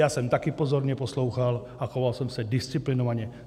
Já jsem také pozorně poslouchal a choval jsem se disciplinovaně.